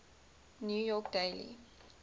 new york daily